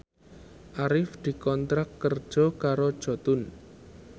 Arif dikontrak kerja karo Jotun